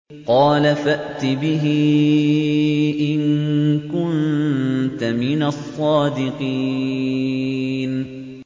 قَالَ فَأْتِ بِهِ إِن كُنتَ مِنَ الصَّادِقِينَ